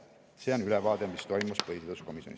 See ongi ülevaade sellest, mis toimus põhiseaduskomisjonis.